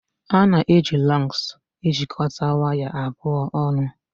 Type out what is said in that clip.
A na-eji Lọgs ejikọta waya abụọ ọnụ